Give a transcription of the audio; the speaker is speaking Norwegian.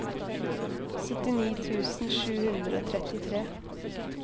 syttini tusen sju hundre og trettitre